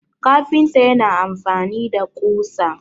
kafinta yana amfani da kusa